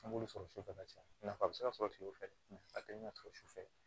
An b'olu sɔrɔ sufɛ ka caya nafa be se ka sɔrɔ kile fɛ a te na sɔrɔ sufɛ